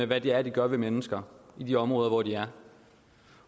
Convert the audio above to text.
hvad det er de gør ved mennesker i de områder hvor de er